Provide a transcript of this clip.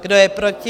Kdo je proti?